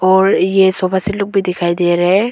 और ये सोफा सिल्डिंग भी दिखाई दे रहा हैं।